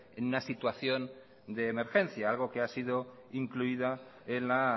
en una situación de emergencia algo que ha sido incluida en la